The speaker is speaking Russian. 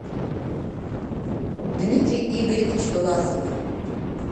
дмитрий игоревич власов